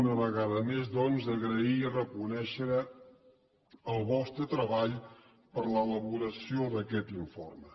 una vegada més doncs agrair i reconèixer el vostre treball per l’elaboració d’aquest informe